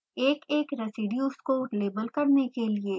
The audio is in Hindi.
एक एक residues को लेबल करने के लिए